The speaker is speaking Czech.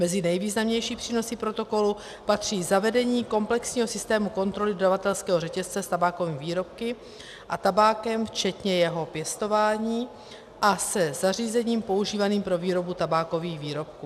Mezi nejvýznamnější přínosy protokolu patří zavedení komplexního systému kontroly dodavatelského řetězce s tabákovými výrobky a tabákem včetně jeho pěstování a se zařízením používaným pro výrobu tabákových výrobků.